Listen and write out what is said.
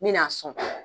N mɛna sɔn